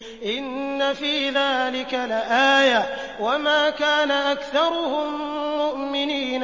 إِنَّ فِي ذَٰلِكَ لَآيَةً ۖ وَمَا كَانَ أَكْثَرُهُم مُّؤْمِنِينَ